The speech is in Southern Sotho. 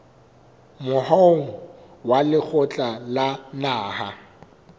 moahong wa lekgotla la naha